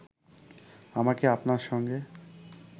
আমাকে আপনার সঙ্গে